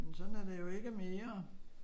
Men sådan er det jo ikke mere